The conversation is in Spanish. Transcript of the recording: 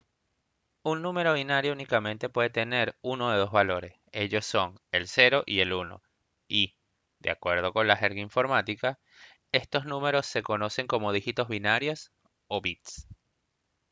un número binario únicamente puede tener uno de dos valores ellos son el 0 y el 1 y de acuerdo con la jerga informática estos números se conocen como dígitos binarios o bits